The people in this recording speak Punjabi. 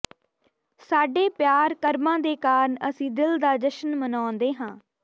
ਸਾਡੇ ਪਿਆਰ ਕਰਮਾਂ ਦੇ ਕਾਰਨ ਅਸੀਂ ਦਿਲ ਦਾ ਜਸ਼ਨ ਮਨਾਉਂਦੇ ਹਾਂ